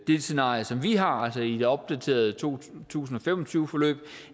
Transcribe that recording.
det scenarie som vi har altså i det opdaterede to tusind og fem og tyve forløb